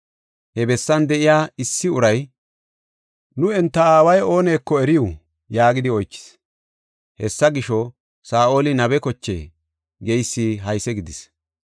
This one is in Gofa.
He bessan de7iya issi uray, “Nu enta aaway ooneko eriw?” yaagidi oychis. Hessa gisho, “Saa7oli nabe kochee?” geysi hayse gidis.